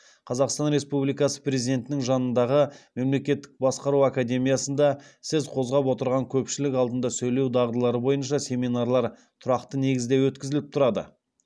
қазақстан республикасы президентінің жанындағы мемлекеттік басқару академиясында сіз қозғап отырған көпшілік алдында сөйлеу дағдылары бойынша семинарлар тұрақты негізде өткізіліп тұрады